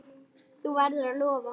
Þú verður að lofa!